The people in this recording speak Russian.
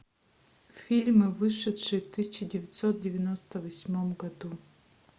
фильмы вышедшие в тысяча девятьсот девяносто восьмом году